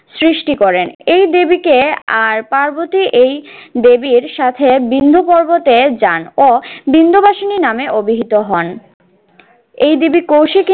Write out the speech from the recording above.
সৃষ্টি করেন। এই দেবীকে আর পার্বতী এই দেবীর সাথে বিন্দ পর্বতে যান ও বিন্দবাসিনী নামে অভিহিত হন। এই দেবী কৌশিকী